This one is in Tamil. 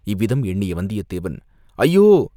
இவ்விதம் எண்ணிய வந்தியதேவன், "ஐயோ!